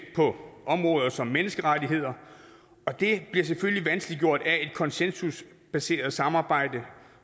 på områder som menneskerettigheder og det bliver selvfølgelig vanskeliggjort af et konsensusbaseret samarbejde